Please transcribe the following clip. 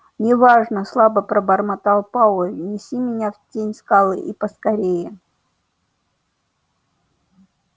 не важно слабо пробормотал пауэлл неси меня в тень скалы и поскорее